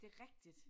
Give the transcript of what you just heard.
Det rigtigt